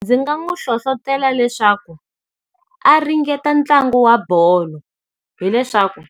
Ndzi nga n'wi hlohletela leswaku, a ringeta ntlangu wa bolo. Hi leswaku,